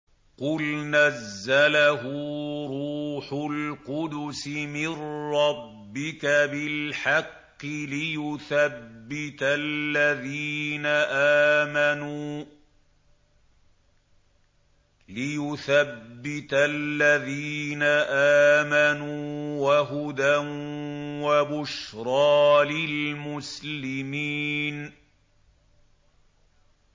قُلْ نَزَّلَهُ رُوحُ الْقُدُسِ مِن رَّبِّكَ بِالْحَقِّ لِيُثَبِّتَ الَّذِينَ آمَنُوا وَهُدًى وَبُشْرَىٰ لِلْمُسْلِمِينَ